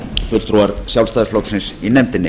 fulltrúar sjálfstæðisflokksins í nefndinni